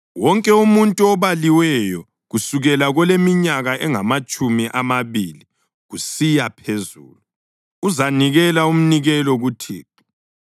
Wonke umuntu obaliweyo, kusukela koleminyaka engamatshumi amabili kusiya phezulu, uzanikela umnikelo kuThixo.